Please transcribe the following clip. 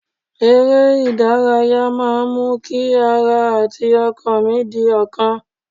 Eré ìdárayá máa ń mú kí ara àti ọkàn mí di ọ̀kan